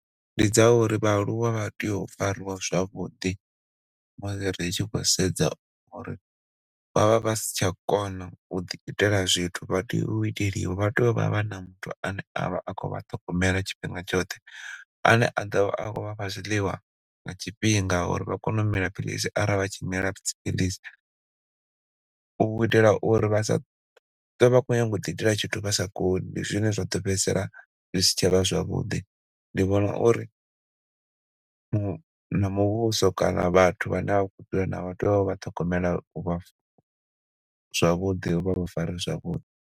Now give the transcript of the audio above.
Ndi dza uri vhaaluwa vha tea u farwa zwavhuḓi musi ri tshi khou sedza uri vhavha vha si tsha kona u ḓi gudela zwithu vha tea u iteliwa, vha tea u vha vha na muthu ane a vha a khou vha ṱhogomela tshifhinga tshoṱhe ane a ḓo vha a khou vha fha zwiḽiwa nga tshifhinga uri vha kone u mila philisi arali vha tshi mila dzi philisi u itela uri vhasa ṱwe vha khou ḓi itela tshithu vha sa koni ndi zwine zwa ḓo fhedzisela zwisi tsha vha zwavhuḓi. Ndi vhona uri na muvhuso kana vhathu vhane vha tea u vha ṱhogomela vha zwavhuḓi, vhavha fare zwavhuḓi.